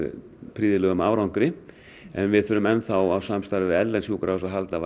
prýðilegum árangri en við þurfum enn á samstarfi við erlend sjúkrahús að halda